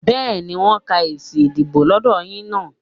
Bẹ́ẹ̀ni, wọ́n ń ka èsì ìdìbò lọ́dọ̀ yín náà